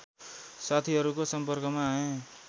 साथिहरूको सम्पर्कमा आएँ